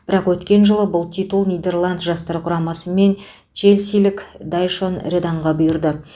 бірақ өткен жылы бұл титул нидерланд жастар құрамасы мен челсилік дайшон реданға бұйырды